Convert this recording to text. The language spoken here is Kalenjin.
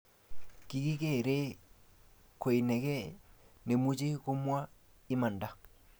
kikikeree koinekee nemuch komwaa imanda